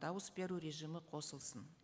дауыс беру режимі қосылсын